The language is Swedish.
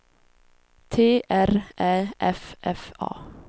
T R Ä F F A